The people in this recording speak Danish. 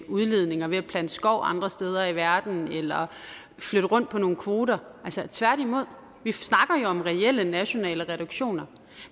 udledninger ved at plante skov andre steder i verden eller flytte rundt på nogle kvoter tværtimod vi snakker jo om reelle nationale reduktioner